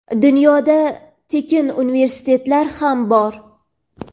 dunyoda tekin universitetlar ham bor.